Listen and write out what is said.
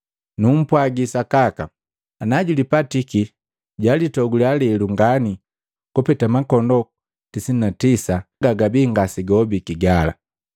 Numpwagi sakaka, ana julipatiki julitogule lelu ngani kupeta makondoo makomi tisa na tisa gagabia ngasegahobiki gala.